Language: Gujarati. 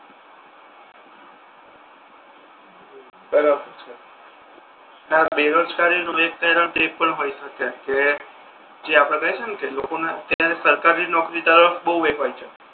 બરાબર છે ને આ બેરોજગારી નુ એક એનુ પણ હોય શકે કે જે આપડે કહીએ છે ને કે લોકો ને આમ સરકારી નોકરી તરફ બહુ એ હોય છે